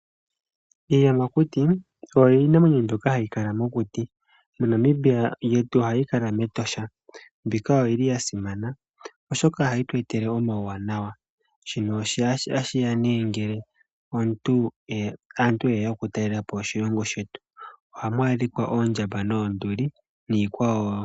Iiyamakuti oyo iinamwenyo mbyoka hayi kala mokuti. MoNamibia, yetu ohayi kala mEtosha, mbika oyili yasimana oshoka ohayi tu etele omawuwanawa, shino ohashiya ne ngele aantu yeya okutalela po oshilongo shetu. Ohamu adhikwa oondjamba noonduli niikwawo wo.